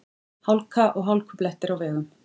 Hálka og hálkublettir á vegum